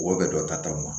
Mɔgɔ bɛ dɔ ta taw la